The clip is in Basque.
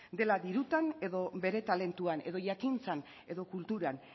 dela dirutan edo bere talentuan edo jakintzan edo kulturan